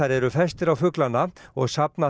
eru festir á fuglana og safna